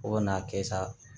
Fo ka n'a kɛ sa